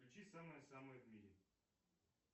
включи самое самое в мире